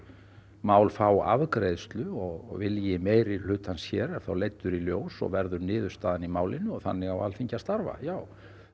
mál fá afgreiðslu og vilji meirihlutans hér er þá leiddur í ljós og verður niðurstaðan í málinu og þannig á Alþingi að starfa já